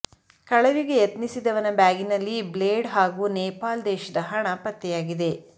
ಕಳವಿಗೆ ಯತ್ನಿಸಿದವನ ಬ್ಯಾಗಿನಲ್ಲಿ ಬ್ಲೇಡ್ ಹಾಗೂ ನೇಪಾಲ್ ದೇಶದ ಹಣ ಪತ್ತೆಯಾಗಿದೆ